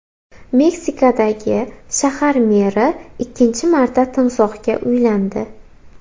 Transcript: Meksikadagi shahar meri ikkinchi marta timsohga uylandi.